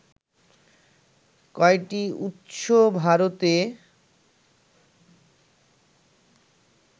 কয়টি উৎস ভারতে